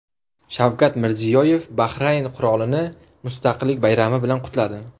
Shavkat Mirziyoyev Bahrayn qirolini Mustaqillik bayrami bilan qutladi.